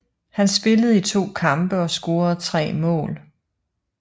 Han spillede i to kampe og scorede tre mål